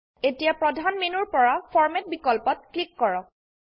এতিয়া প্ৰধান মেনুৰপৰা ফৰমাত বিকল্পত ক্লিক কৰক